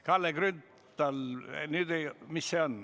Kalle Grünthal, mis on?